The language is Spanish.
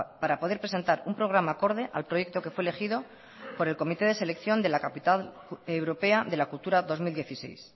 para poder presentar un programa acorde al proyecto que fue elegido por el comité de selección de la capital europea de la cultura dos mil dieciséis